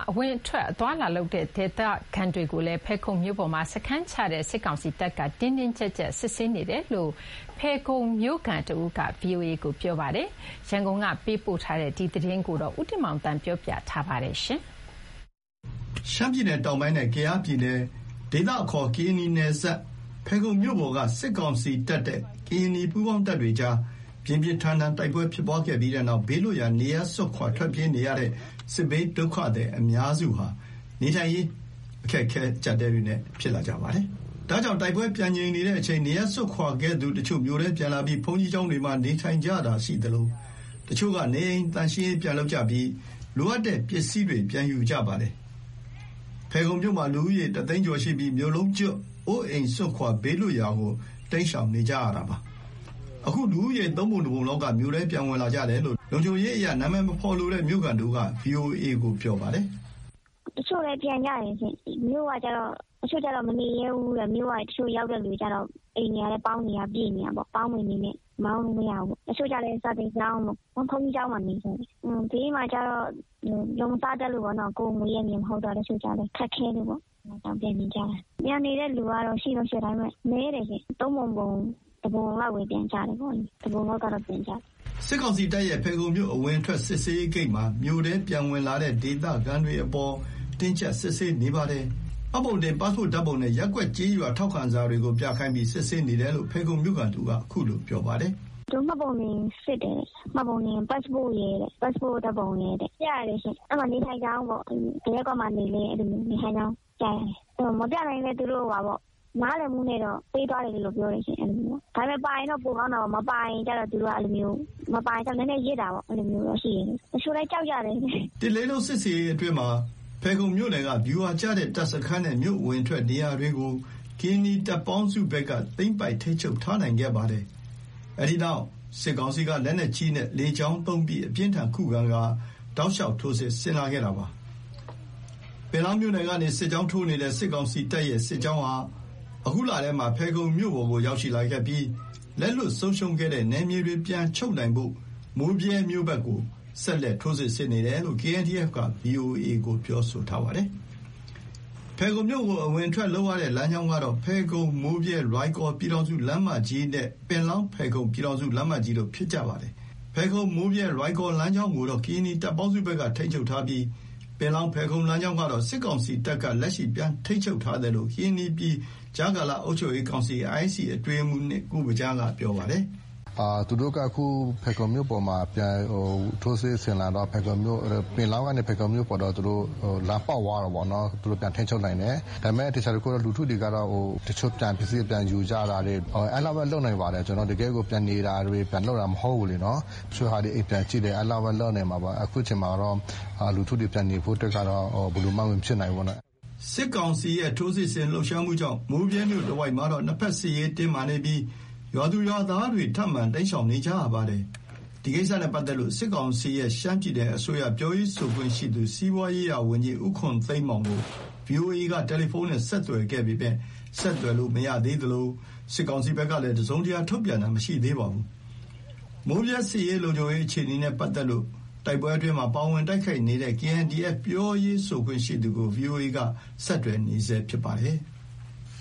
အဝင်အထွက်အသွားအလာလုပ်နေတဲ့ ဒေသခံတွေကို ဖယ်ခုံမြို့ပေါ်မှာ စခန်းချလာတဲ့ စစ်ကောင်စီတပ်က တင်းတင်းကြပ်ကြပ်စစ်ဆေးနေတယ်လို့ ဖယ်ခုံမြို့ခံတဦးက ဗွီအိုအေကို ပြောပါတယ်။ တိုက်ပွဲပြင်းထန်ချိန် နေရပ်စွန့်ခွာခဲ့သူတချို့၊ တိုက်ပွဲတွေ ခေတ္တပြန်ငြိမ်သွားတဲ့အချိန် နေရပ်ပြန်စဉ် အခုလို စစ်ကောင်စီဘက်က စစ်ဆေးတာကို ခံနေရတာပါ။ ဖယ်ခုံက လုံခြုံရေးအခြေအနေသတင်းပေးပို့ချက်ကို ဦးတင်မောင်သန်းပြောပြမှာပါ။ ရှမ်းပြည်နယ်တောင်ပိုင်းနဲ့ ကယားပြည်နယ် ကရင်နီနယ်စပ်က ဖယ်ခုံမြို့ပေါ် က စစ်ကောင်စီတပ်နဲ့ ကရင်နီပူးပေါင်းတပ်တွေကြား ပြင်းပြန်းထန်ထန်ဖြစ်ပွားခဲ့တဲ့နောက် ဘေးလွတ်ရာ နေရပ်စွန့်ခွာထွက်ပြေးနေရတဲ့ စစ်ဘေးဒုက္ခသည်အများစုဟာ နေထိုင်စားသောက်ရေး အခက်အခဲ အကျပ်အတည်းတွေနဲ့ ဖြစ်လာကြပါတယ်။ ဒါကြောင့် တိုက်ပွဲ ပြန်ငြိမ်နေတဲ့အချိန် နေရပ်စွန့်ခွာခဲ့သူတချို့ မြို့ထဲပြန်လာပြီး ဘုန်းကြီးကျောင်းတွေမှာ နေထိုင်ကြတာရှိသလို၊ တချို့က နေအိမ် သန့်ရှင်းရေး ပြန်လုပ်တာ လိုအပ်တဲ့ ပစ္စည်းတွေ ပြန်ယူတာမျိုး လုပ်လာကြပါတယ်။ ဖယ်ခုံမြို့မှာ လူဦးရေ ၁သိန်းကျော်ရှိပြီး မြို့လုံးကျွတ် အိုးအိမ်စွန့်ခွာ ဘေးလွတ်ရာကို တိမ်းရှောင်နေကြတာပါ။ အခု လူဦးရေ သုံးပုံ တစ်ပုံလောက်က မြို့ထဲပြန်ဝင်လာကြတယ်လို့ လုံခြုံရေးအရ နာမည်မဖော်ပြလိုတဲ့ မြို့ခံတဦးက ဗွီအိုအေကို ပြောပါတယ်။ “တချို့လည်း ပြန်ကြတယ်ရှင့်။ မြို့ကကျတော့ တချို့က မနေရဲဘူး၊ မြို့က တချို့ရောက်တဲ့လူကျတော့ အိမ်တွေကလည်း ပေါင်းတွေကပြည့်နေတာပေါ့၊ ပေါင်းပင်လေးနဲ့ နေလို့မရဘူးပေါ့။ တချို့ကျလည်း စာသင်ကျောင်းပေါ့ ဘုန်းကြီးကျောင်းမှာ နေတာရှင်။ ဘေးလွတ်ရာမှာကျတော့ လုပ်မစားတတ်လို့ပေါ့နော် ကိုယ်မွေးရပ်မြေမဟုတ်တော့လေ တချို့ကျလည်း ခက်ခဲတယ်ပေါ။့ အဲ့ကြောင့် ပြန်နေချင်ကြတယ်။ ပြန်နေတဲ့လူကတော့ ရှိတော့ရှိတယ် ဒါပေမယ့် နည်းတယ်ရှင့်၊ သုံးပုံ ပုံ တစ်ပုံလောက်ပဲ ပြန်ကြတယ်ပေါ့နော်၊ တပုံလောက်ကတော့ ပြန်ကြတယ်။” စစ်ကောင်စီတပ်ရဲ့ ဖယ်ခုံမြို့ အဝင်အထွက် စစ်ဆေးရေးဂိတ်မှာ မြို့ထဲ ပြန်ဝင်လာတဲ့ ဒေသခံတွေအပေါ် တင်းကြပ်စစ်ဆေးနေပါတယ်။ မှတ်ပုံတင်၊ ပတ်စပို့စ်ဓာတ်ပုံနဲ့ ရပ်ကွက်ကျေးရွာ ထောက်ခံစာတွေကို ပြခိုင်းပြီး စစ်ဆေးနေတယ်လို့ ဖယ်ခုံမြို့ခံတဦးက ခုလို ပြောပါတယ်။ “သူတို့ မှတ်ပုံတင်စစ်တယ်၊ မှတ်ပုံ ပတ်စပို့ဓာတ်ပုံရယ် ပြရတယ်ရှင့်။ အဲ့မှာ နေထိုင်ကြောင်းပေ့ါ ဘယ်ရပ်ကွက်မှာနေလဲ အဲ့လိုမျိုး နေထိုင်ကြောင်းပြရတယ်။ မပြနိုင်လည်း သူတို့ နားလည်မှုနဲ့တော့ ပေးသွားတယ်လို့ ပြောတယ်ရှင့် အဲ့လိုမျိုး ၊ ဒါပေမယ့်ရင်တော့ ပိုကောင်းတာပေါ့၊ မပါရင်ကျတော့ သူတို့က နည်းနည်းရစ်တာပေါ့ အဲ့လိုမျိုးရှိတယ်။ တချို့လည်း ကြောက်ကြတယ်။” စစ်ဆင်ရေးအတွင်းမှာ ဖယ်ခုံမြို့နယ်က ဗျူဟာကျတဲ့ တပ်စခန်းနဲ့ မြို့အဝင်အထွက် နေရာတွေကို ကရင်နီတပ်ပေါင်းစုဘက်က သိမ်းပိုက်ထိန်းချုပ်ထားနိုင်ခဲ့ပါတယ်။ အဲ့ဒီနောက် စစ်ကောင်စီက လက်နက်ကြီးနဲ့ လေကြောင်းသုံးပြီး အပြင်းအထန်ခုခံကာ တောက်လျှောက် ထိုးစစ်ဆင်လာတာပါ။ ပင်လောင်းမြို့နယ်ကနေ စစ်ကြောင်းထိုးနေတဲ့ စစ်ကောင်စီတပ်ရဲ့ စစ်ကြောင်းဟာ ယခုလထဲမှာ ဖယ်ခုံမြို့ပေါ်ကို ရောက်ရှိလာပြီး လက်လွှတ်ဆုံးရှုံးခဲ့တဲ့နယ်မြေတွေ ပြန်ချုပ်နိုင်ဖို့ မိုးဗြဲမြို့ဘက်ကို ဆက်လက် ထိုးစစ်ဆင်နေတယ်လို့ KNDF က ဗွီအိုအေကို ပြောဆိုထားပါတယ်။ ဖယ်ခုံမြို့ကို အဝင်အထွက်လုပ်လို့ရတဲ့ လမ်းကြောင်းကတော့ ဖယ်ခုံ-မိုးဗြဲ-လွိုင်ကော် ပြန်ထောင်စုလမ်းမကြီးနဲ့ ပင်လောင်း-ဖယ်ခုံ ပြန်ထောင်စုလမ်းမကြီးတို့ ဖြစ်ပါတယ်။ ဖယ်ခုံ-မိုးဗြဲ-လွိုင်ကော် လမ်းကြောင်းကိုတော့ ကရင်နီတပ်ပေါင်းစုဘက်က ထိန်းချုပ်ထားပြီး ပင်လောင်း-ဖယ်ခုံ လမ်းကြောင်းကတော့ စစ်ကောင်စီတပ်က လက်ရှိ ပြန်ထိန်းချုပ်ထားတယ်လို့ ကရင်နီပြည်ကြားကာလ အုပ်ချုပ်ရေးကောင်စီ အတွင်းရေးမှူး ကိုဗညားက ပြောပါတယ်။ “သူတို့က ဖယ်ခုံမြို့ပေါ်မှာ ထိုးစစ်ဆင်လာတော့ ပင်လောင်းကနေ ဖယ်ခုံမြို့ပေါ်တော့ သူတို့ လမ်းပေါက်သွားတာပေါ့နော်။ သူတို့ပြန်ထိန်းချုပ်နိုင်တယ်။ ဒါပေမယ့် သေချာတခုက လူထုတွေကတော့ တချို့ပစ္စည်းတွေပြန်ယူကြတာတွေ အဲ့လောက်ပဲ လုပ်နိုင်ပါတယ်။ တကယ့်ကို ပြန်နေတာတွေ ပြန်လုပ်တာမဟုတ်ဘူးလေနော်၊ တချို့ အိမ်ပြန်ကြည့်တယ် အဲ့လောက်ပဲ လုပ်နိုင်မှာပါ အခုချိန်မှာတော့ လူထုတွေ ပြန်နေဖို့အတွက်ကတော့ ဘယ်လိုမှ မဖြစ်နိုင်ဘူးပေါ့နော်။” စစ်ကောင်စီရဲ့ ထိုးစစ်ဆင်လှုပ်ရှားမှုကြေင့် မိုးဗြဲမြို့တဝိုက်မှာတော့ နှစ်ဖက်စစ်ရေးတင်းမာနေပြီး ရွာသူရွာသားတွေ ထပ်မံ တိမ်းရှောင်နေကြရပါတယ်။ ဒီကိစ္စနဲ့ ပတ်သက်လို့ စစ်ကောင်စီရဲ့ ရှမ်းပြည်နယ်အစိုးရအဖွဲ့ ပြောရေးဆိုခွင့်ရှိသူ စီးပွားရေးရာဝန်ကြီး ဦးခွန်သိန်းမောင်ကို ဗွီအိုအေကို တယ်လီဖုန်းနဲ့ ဆက်သွယ်ခဲ့ပေမယ့် ဆက်သွယ်လို့မရသေးသလို စစ်ကောင်စီဘက်ကလည်း တစုံတရာ ထုတ်ပြန်တာမရှိသေးပါဘူး။ မိုးဗြဲ စစ်ရေး လုံခြုံရေးအခြေအနေ နဲ့ ပတ်သက်လို့ တိုက်ပွဲအတွင်းမှာ ပါဝင်တိုက်ခိုက်နေတဲ့ KNDF ပြောရေးဆိုရှိသူကို ဗွီအိုအေက ဆက်သွယ်နေဆဲဖြစ်ပါတယ်။